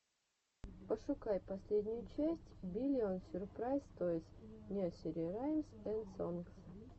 пошукай последнюю часть биллион сюрпрайз тойс несери раймс энд сонгс